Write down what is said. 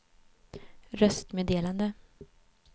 röstmeddelande